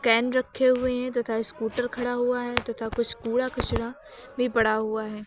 Pen रखे हुए हैं तथा स्कूटर खड़ा हुआ है तथा कुछ कूड़ा कचरा भी पड़ा हुआ है।